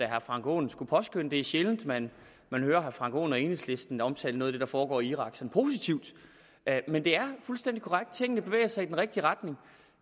herre frank aaen skulle påskønne det er sjældent man hører herre frank aaen og enhedslisten omtale noget af det der foregår i irak som noget positivt men det er fuldstændig korrekt tingene bevæger sig i den rigtige retning